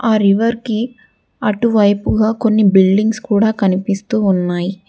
ఆ రివర్కి అటువైపుగా కొన్ని బిల్డింగ్స్ కూడా కనిపిస్తూ ఉన్నాయి.